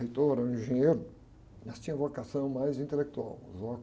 Reitor era um engenheiro, mas tinha vocação mais intelectual.